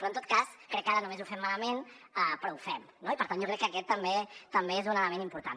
però en tot cas crec que ara només ho fem malament però ho fem no i per tant jo crec que aquest també és un element important